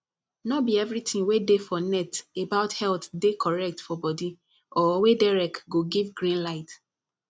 no be everything wey dey for net about health dey correct for body or wey derek go give green light